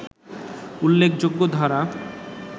উল্লেখযোগ্য ধারা